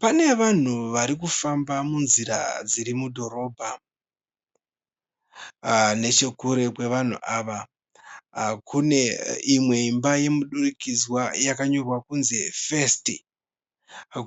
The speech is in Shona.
Pana vanhu varikufamba munzira dziri mudhorobha. Nechekure kwevanhu ava kune imwe imba yemudurikidzwa yakanyorwa kunzi First.